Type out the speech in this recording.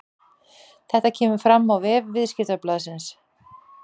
Þetta kemur fram á vef Viðskiptablaðsins